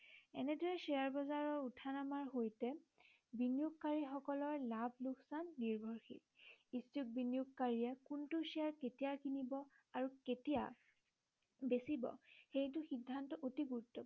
এনেদৰে শ্বেয়াৰ বজাৰৰ উঠা নমাৰ সৈতে বিনিয়োগকাৰী সকলৰ লাভ লোকচান নিৰ্ভৰশীল। ইচ্ছুক বিনিয়োগকাৰীয়ে কোনটো শ্বেয়াৰ কেতিয়া কিনিব আৰু কেতিয়া বেছিব সেইটো সিদ্ধান্ত অতি গুৰুত্বপূৰ্ণ